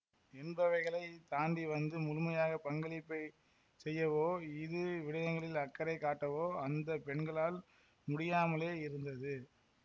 என்பவைகளைத் தாண்டி வந்து முழுமையாக பங்களிப்பைச் செய்யவோ இது விடயங்களில் அக்கறை காட்டவோ அந்த பெண்களால் முடியாமலே இருந்தது